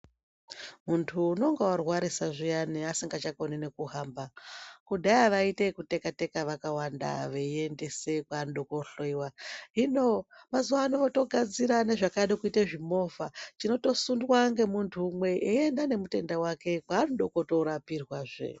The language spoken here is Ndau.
Muntu unonga arwarisa zviyani asingachakoni nekuhamba kudhaya vaita yekuteka teka vakawanda veiendeza vantu kohloiwa hino mazuva ano votogadzira yezvakada kuita chimovha zvinotosundwa nemovha imwe zveienda nemutenda wake kwanoda kutorwa pedzazve.